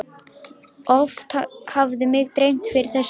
Oft hafði mig dreymt fyrir þessum degi.